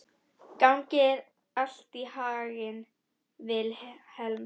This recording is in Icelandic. Gangi þér allt í haginn, Vilhelm.